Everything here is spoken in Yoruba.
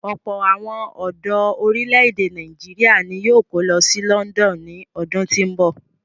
Ọ̀pọ̀ àwọn ọ̀dọ orílè-èdè Nàìjíríà ni yóò kó lọ sí London ní ọdún tí ń bọ̀.